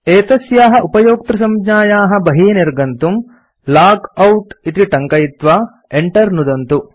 एतस्याः उपयोक्तृसंज्ञायाः बहिः निर्गन्तुं160 लॉगआउट इति टङ्कयित्वा enter नुदन्तु